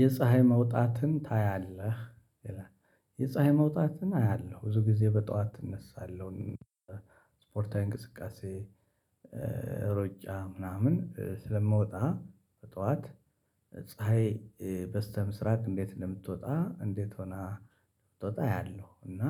የፀሀይ መውጣትን ታያለህ ይላል? የፀሀይ መውጣትን አያለሁ ብዙ ጊዜ በጠዋት እነሳለሁ። ስፖርታዊ እንቅስቃሴ ሩጫ ምናምን ስለምወጣ ጠዋት ፀሀይ በስተምስራቅ እንዴት እንደምትወጣ እንዴት ሆና ትወጣ አያለሁ እና